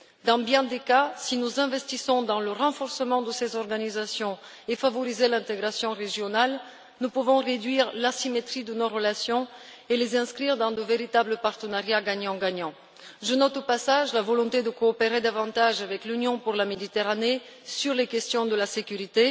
Dans bien des cas, si nous investissons dans le renforcement de ces organisations et favorisons l'intégration régionale, nous pouvons réduire l'asymétrie de nos relations et les inscrire dans de véritables partenariats gagnant gagnant. Je note, au passage, la volonté de coopérer davantage avec l'Union pour la Méditerranée sur les questions de sécurité.